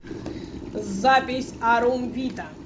запись арум вита